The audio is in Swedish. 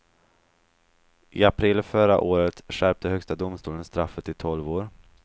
I april förra året skärpte högsta domstolen straffet till tolv år.